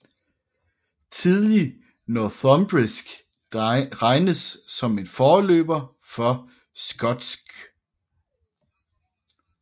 Tidlig northumbrisk regnes som en forløber for skotsk